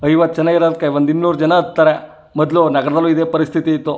ಐವತ್ ಜನ ಇರಾದ್ಕೆ ಒಂದು ಇನ್ನೂರ್ ಜನ ಹತ್ತರೆ ಮೊದ್ಲು ನಗರ್ದಲ್ಲಿ ಇದೆ ಪರಸ್ಥಿತಿ ಇತ್ತು .